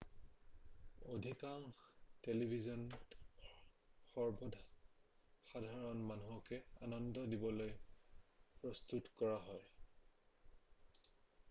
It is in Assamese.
অধিকাংশ টেলিভিছনেই সৰ্বসাধাৰণ মানুহক আনন্দ দিবলৈ প্ৰস্তুত কৰা হয়৷